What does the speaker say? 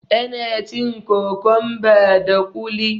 ana cin kokonba da kuli